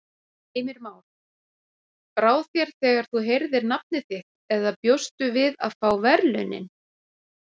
Heimir Már: Brá þér þegar þú heyrðir nafnið þitt eða bjóstu við að fá verðlaunin?